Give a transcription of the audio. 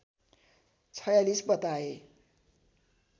४६ बताए